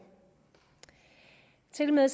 tilmed